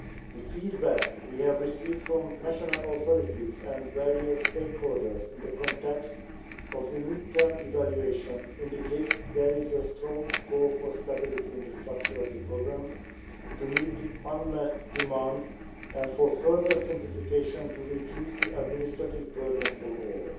The feedback we have received from national authorities and various stakeholders in the context of the mid-term evaluation indicates that there is a strong call for stability in the structure of the programme to meet the unmet demand and for further simplification to reduce the administrative burden for all.